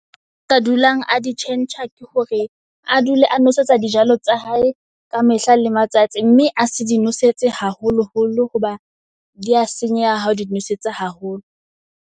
A ka dulang a di tjhentjha, ke hore a dule a nwesetsa di jalo tsa hae ka mehla le matsatsi. Mme a se di nosetse haholo holo hoba dia senyeha ha o di nosetsa haholo.